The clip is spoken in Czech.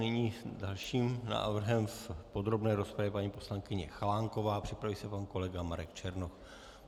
Nyní s dalším návrhem v podrobné rozpravě paní poslankyně Chalánková, připraví se pan kolega Marek Černoch.